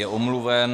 Je omluven.